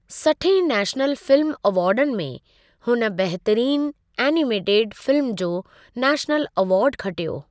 सठहें national film अवार्डनि में, हुन बहितरीन एनिमेटेड फिल्म जो नेशनल अवार्ड खटियो।